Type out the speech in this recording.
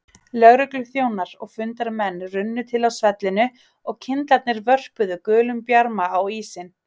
Lögregluþjónar og fundarmenn runnu til á svellinu og kyndlarnir vörpuðu gulum bjarma á ísinn.